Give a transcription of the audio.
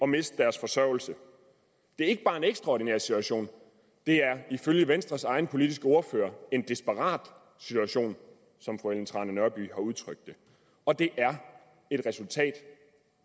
miste deres forsørgelse det er ikke bare en ekstraordinær situation det er ifølge venstres egen politiske ordfører en desperat situation som fru ellen trane nørby har udtrykt det og det er et resultat